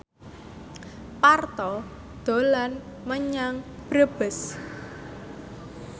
Parto dolan menyang Brebes